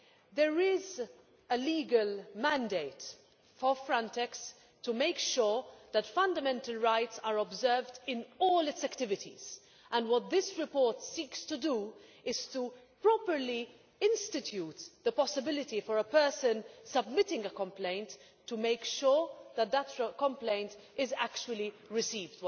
There is a legal mandate for Frontex to make sure that fundamental rights are observed in all its activities, and what this report seeks to do is to properly institute the possibility for a person submitting a complaint to make sure that the complaint is actually received.